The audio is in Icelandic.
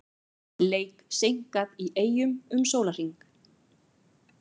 Leik seinkað í Eyjum um sólarhring